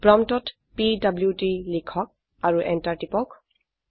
প্ৰম্পটত পিডিডি লিখক আৰু এন্টাৰ টিপক